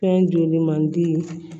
Fɛn joli mandi